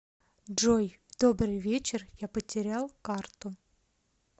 джой добрый вечер я потерял карту